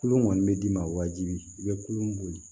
Kulon kɔni bɛ d'i ma wajibi i bɛ kulon